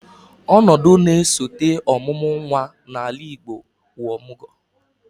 Ọnọdụ na-esote ọmụmụ nnwa n'ala Igbo bụ ọmụgwọ